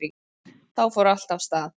Þá fór allt af stað